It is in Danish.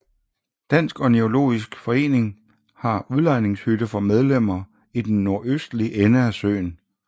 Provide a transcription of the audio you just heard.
Dansk Ornitologisk Forening har en udlejningshytte for medlemmer i den nordøstlige ende af søen